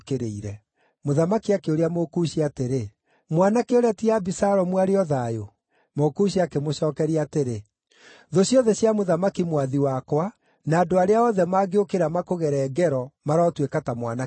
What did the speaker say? Mũthamaki akĩũria Mũkushi atĩrĩ, “Mwanake ũrĩa ti Abisalomu arĩ o thayũ?” Mũkushi akĩmũcookeria atĩrĩ, “Thũ ciothe cia mũthamaki mwathi wakwa, na andũ arĩa othe mangĩũkĩra makũgere ngero marotũĩka ta mwanake ũcio.”